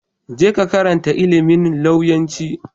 Je ka ka karantar ilimin lauyanci.